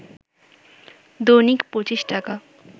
“দৈনিক ২৫ টাকা